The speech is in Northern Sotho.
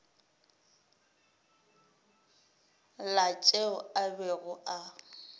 la tšeo a bego a